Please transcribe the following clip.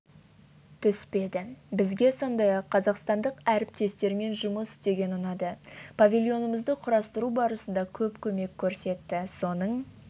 түспеді бізге сондай-ақ қазақстандық әріптестермен жұмыс істеген ұнады павильонымызды құрастыру барысында көп көмек көрсетті соның